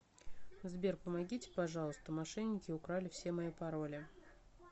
сбер помогите пожалуйста мошенники украли все мои пароли